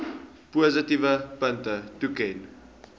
positiewe punte toeken